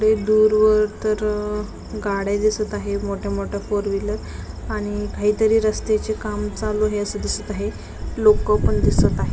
तिकडे दूरवर तर गाड्या दिसत आहे मोठ्या मोठ्या फोर व्हीलर आणि काहीतरी रस्त्याचे काम चालू आहे अस दिसत आहे लोक पण दिसत आहे.